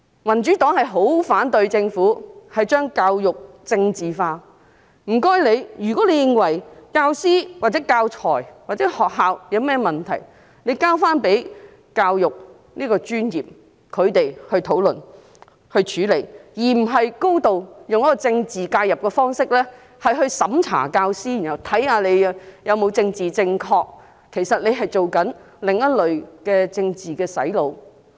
民主黨十分反對政府將教育政治化，如果政府認為教師、教材或學校有任何問題，請把問題交回教育界的專業人士討論和處理，而不是以高度的政治介入方式來審查教師，看看他們是否政治正確，其實這是另類的政治"洗腦"。